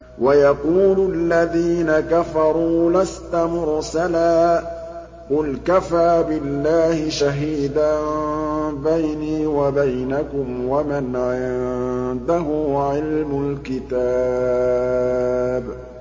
وَيَقُولُ الَّذِينَ كَفَرُوا لَسْتَ مُرْسَلًا ۚ قُلْ كَفَىٰ بِاللَّهِ شَهِيدًا بَيْنِي وَبَيْنَكُمْ وَمَنْ عِندَهُ عِلْمُ الْكِتَابِ